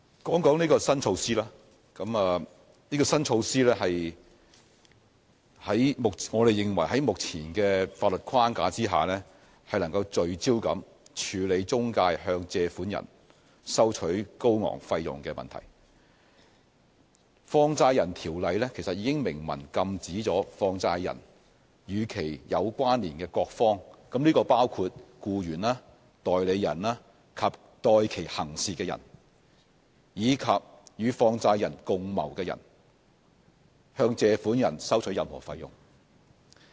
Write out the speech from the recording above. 我們認為新措施能夠在現行法律框架下聚焦處理中介向借款人收取高昂費用的問題。《放債人條例》已明文禁止放債人、與其有關連的各方，包括其僱員、代理人及代其行事的人，以及與放債人共謀的人向借款人收取任何費用。